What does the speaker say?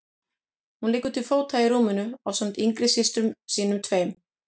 Hún liggur til fóta í rúminu ásamt yngri systrum sínum tveim.